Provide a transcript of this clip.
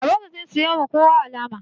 Babanmu zai siyowa kowa alama